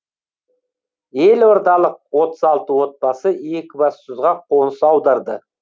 елордалық отыз алты отбасы екібастұзға қоныс аударды